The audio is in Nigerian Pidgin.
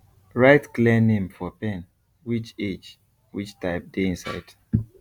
write clear name for pen which age which type dey inside